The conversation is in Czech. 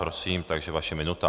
Prosím, takže vaše minuta.